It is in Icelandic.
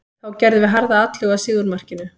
Þá gerðum við harða atlögu að sigurmarkinu.